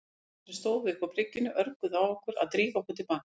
Krakkarnir sem stóðu uppi á bryggjunni örguðu á okkur að drífa okkur til baka.